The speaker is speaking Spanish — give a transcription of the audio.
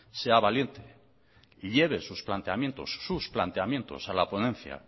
sea valiente lleve sus planteamientos a la ponencia